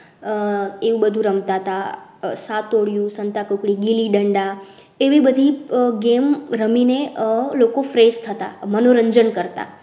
આહ એવું બધું રમતા સાતોડિયું સંતાકુકડી ગિલ્લી દંડા એવી બધી game રમીને લોકો fresh થતા મનોરંજન કરતા